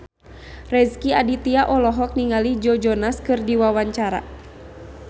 Rezky Aditya olohok ningali Joe Jonas keur diwawancara